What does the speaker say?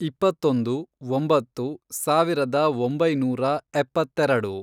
ಇಪ್ಪತ್ತೊಂದು, ಒಂಬತ್ತು, ಸಾವಿರದ ಒಂಬೈನೂರ ಎಪ್ಪತ್ತೆರೆಡು